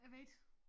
Jeg ved ik